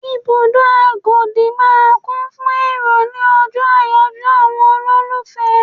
Ibùdó Agodi máa ń kún fún èrò ni ọjọ́ àyájọ́ àwọn olólùfẹ́.